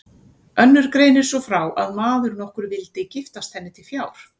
Önnur greinir svo frá að maður nokkur vildi giftast henni til fjár.